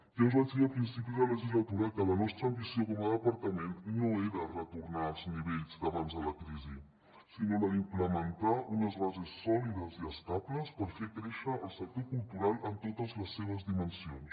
ja us vaig dir a principi de legislatura que la nostra ambició com a departament no era retornar als nivells d’abans de la crisi sinó implementar unes bases sòlides i estables per fer créixer el sector cultural en totes les seves dimensions